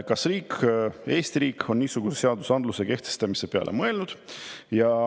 Kas riik, Eesti riik, on niisuguse seadusandluse kehtestamise peale mõelnud?